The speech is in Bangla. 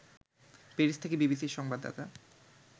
প্যারিস থেকে বিবিসির সংবাদদাতা